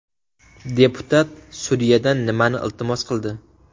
Deputat sudyadan nimani iltimos qildi?